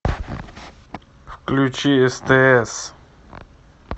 включи стс